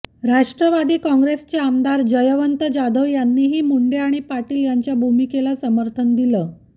राष्ट्रवादी काँग्रेसचे आमदार जयवंत जाधव यांनीही मुंडे आणि पाटील यांच्या भूमिकेला समर्थन दिलं